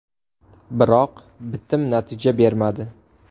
Biroq bitim natija bermadi.